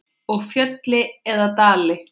Og fjöll eða dali?